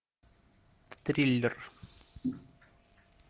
триллер